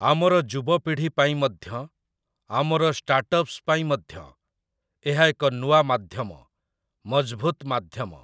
ଆମର ଯୁବପିଢ଼ି ପାଇଁ ମଧ୍ୟ, ଆମର ଷ୍ଟାର୍ଟଅପ୍‌ସ ପାଇଁ ମଧ୍ୟ, ଏହା ଏକ ନୂଆ ମାଧ୍ୟମ, ମଜଭୁତ ମାଧ୍ୟମ ।